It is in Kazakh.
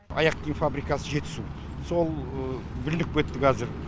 аяқ киім фабрикасы жетісу сол бүлініп кетті қазір